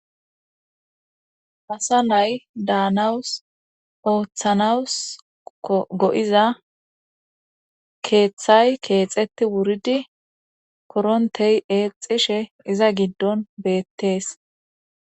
asa nay daanawus ooththanawus go7iza keeththay keexeti wuridi korontey eexishe iza giddon beettees